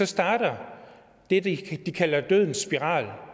starter det de kalder dødens spiral